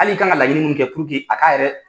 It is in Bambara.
Hali i kan ka laɲini minnu kɛ a k'a yɛrɛ